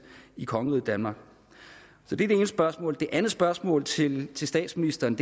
i kongeriget danmark så det er det ene spørgsmål det andet spørgsmål til til statsministeren